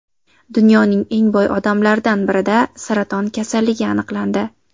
Dunyoning eng boy odamlaridan birida saraton kasalligi aniqlandi.